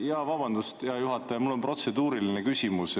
Jaa, vabandust, hea juhataja, mul on protseduuriline küsimus.